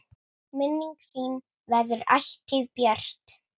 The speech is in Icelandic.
Minning þín verður ætíð björt.